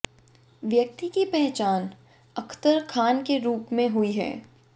व्यक्ति की पहचान अख्तर खान के रुप में हुई है